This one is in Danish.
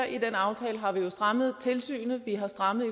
i den aftale har vi jo strammet tilsynet og vi har strammet